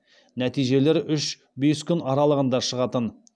нәтижелер үш бес күн аралығында шығатын